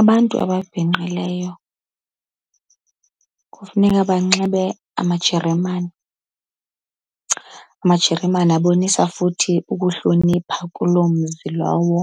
Abantu ababhinqileyo kufuneka banxibe amajeremane. Amajeremane abonisa futhi ukuhlonipha kuloo mzi lowo